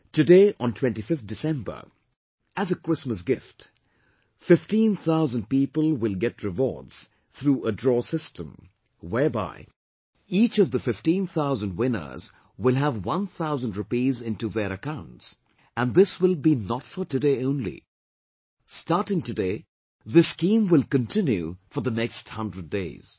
Today, on 25th December, as a Christmas gift, fifteen thousand people will get rewards through a draw system, whereby each of the fifteen thousand winners will have one thousand rupees into their accounts and this will be not for today only; starting today this scheme will continue for the next 100 days